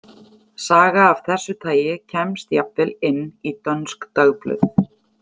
Saga af þessu tagi kemst jafnvel inn í dönsk dagblöð.